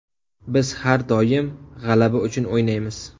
Biz har doim g‘alaba uchun o‘ynaymiz.